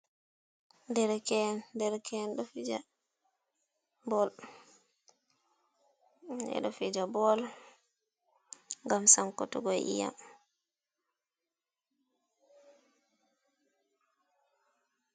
Dereke’en, dereke’en ɗo fija bol ngam sankutugo iyam.